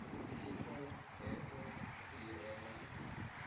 iṱo heḽo ḽi re na